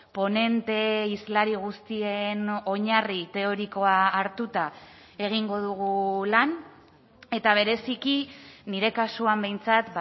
ponente hizlari guztien oinarri teorikoa hartuta egingo dugu lan eta bereziki nire kasuan behintzat